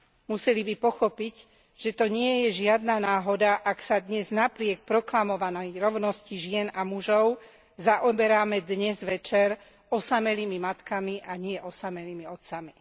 Museli by pochopiť, že to nie je žiadna náhoda, ak sa napriek proklamovanej rovnosti žien a mužov zaoberáme dnes večer osamelými matkami, a nie osamelými otcami.